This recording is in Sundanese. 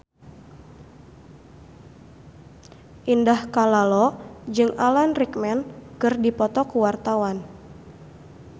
Indah Kalalo jeung Alan Rickman keur dipoto ku wartawan